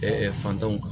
fantanw kan